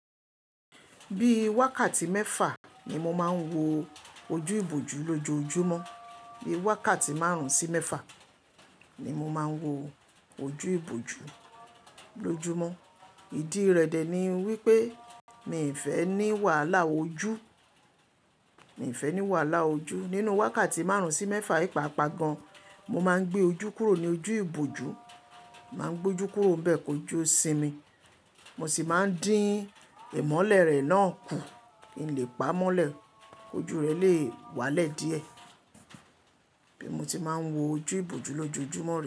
Bí wákàtí mẹ́fà ni mo máa ń wo ojú ìbòjú lójoojúmọ́, bí wákàtí márùn-ún sí mẹ́fà ni mo máa ń wo ojú ìbòjú lójúmọ́. Ìdí rẹ̀ dẹ̀ ni wípé mi ì fẹ́ ní wàhálà ojú, mi ì fẹ́ ní wàhálà ojú. Nínú wákàtí márùn-ún sí mẹ́fà yi paapa gan, mo maá ń gbé ojú kúrò ní ojú ìbòjú. Má ń gbojú kúrò nbẹ̀ kojú o simi. Mo sì máa ń dín ìmọ́lẹ̀ rẹ̀ náà kù. Kí n lè pa mọ́lẹ̀, kojú rẹ̀ le wálẹ̀ díẹ̀. Bí mo tí máa ń wo ojú ìbòjú lójoojúmọ́ re.